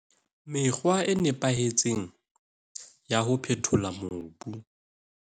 Mekgwa e nepahetseng ya ho phethola mobu.